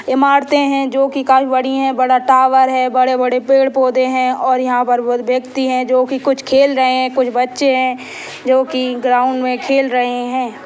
इमारते है जो की काफी बड़ी है बड़ा टावर है बड़े-बड़े पेड़-पौधे है और यहाँ पर बोहोत व्यक्ति है जो की कुछ खेल रहे है कुछ बचे है जो की ग्राउंड में खेल रहे है।